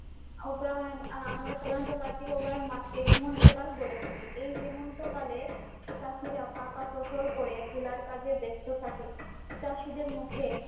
অগ্রহাযণ আমরা সাধারণত কার্তিক অগ্রহায়ণ মাসকেই হেমন্তকাল বলে থাকি। এই হেমন্তকালে চাষিরা পাকা ফসল ঘরে তোলার কাজে ব্যস্ত থাকে। চাষিদের মুখে